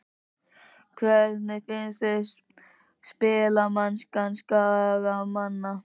Hvernig finnst þér spilamennska Skagamanna?